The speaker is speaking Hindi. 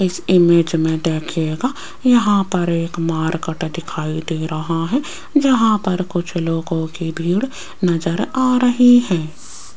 इस इमेज में देखिएगा यहां पर एक मार्केट दिखाई दे रहा है जहां पर कुछ लोगों की भीड़ नजर आ रही है।